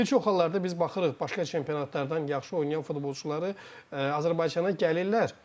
Bir çox hallarda biz baxırıq başqa çempionatlardan yaxşı oynayan futbolçuları Azərbaycana gəlirlər.